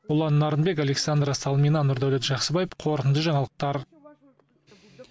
ұлан нарынбек александра салмина нұрдәулет жақсыбаев қорытынды жаңалықтар